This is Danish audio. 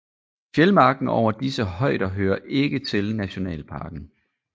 Fjeldmarken over disse højder hører ikke til nationalparken